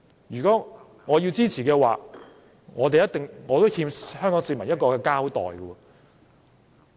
如果我支持這項修正案，我會欠香港市民一個交代。